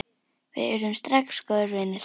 Við urðum strax góðir vinir.